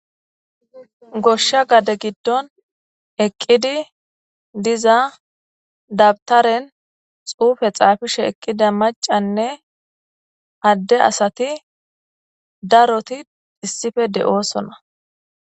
goshsha gade giddon eqqidi diza dabtaren xuufe xaafishe eqqida macanne adde asati daroti issife de7oosona.